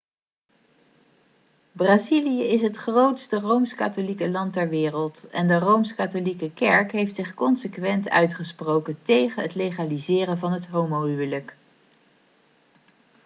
brazilië is het grootste rooms-katholieke land ter wereld en de rooms-katholieke kerk heeft zich consequent uitgesproken tegen het legaliseren van het homohuwelijk